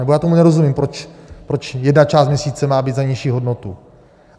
Nebo já tomu nerozumím, proč jedna část měsíce má být za nižší hodnotu.